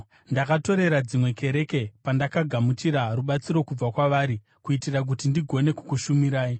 Ndakatorera dzimwe kereke pandakagamuchira rubatsiro kubva kwavari kuitira kuti ndigone kukushumirai.